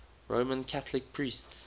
roman catholic priests